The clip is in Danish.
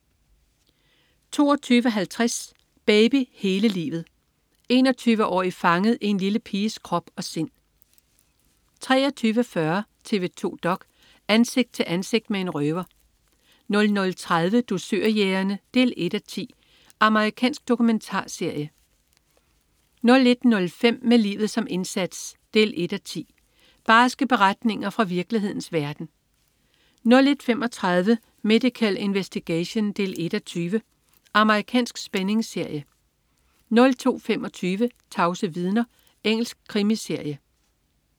22.50 Baby hele livet. 21-årig fanget i en lille piges krop og sind 23.40 TV 2 dok.: Ansigt til ansigt med en røver 00.30 Dusørjægerne 1:10. Amerikansk dokumentarserie 01.05 Med livet som indsats 1:10. Barske beretninger fra virkelighedens verden 01.35 Medical Investigation 1:20. Amerikansk spændingsserie 02.25 Tavse vidner. Engelsk krimiserie